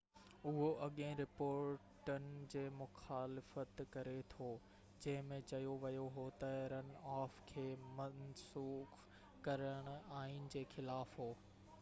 اهو اڳين رپورٽن جي مخالفت ڪري ٿو جنهن ۾ چيو ويو هو تہ رن آف کي منسوخ ڪرڻ آئين جي خلاف هو